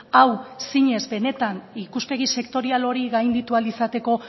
hau zinez benetan ikuspegi sektorial hori gainditu ahal izateko